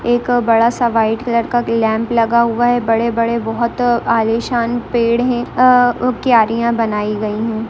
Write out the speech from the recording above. एक बड़ा-सा white colour का एक लैंप लगा हुआ है बड़े-बड़े बहुत आलीशान पेड़ हैं अ क्यारियां बनाई गई हैं।